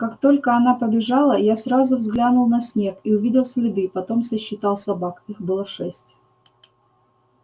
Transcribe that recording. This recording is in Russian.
как только она побежала я сразу взглянул на снег и увидел следы потом сосчитал собак их было шесть